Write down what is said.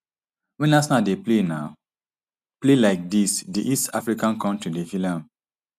wen arsenal dey um play like dis di east african kontri dey feel am